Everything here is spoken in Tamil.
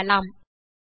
ஐ திறக்கலாம்